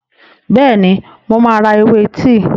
Bẹ́ẹ̀ni, mo máa ra ewé tíì.